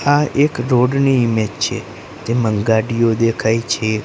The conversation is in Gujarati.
આ એક રોડ ની ઇમેજ છે તેમાં ગાડીઓ દેખાય છે.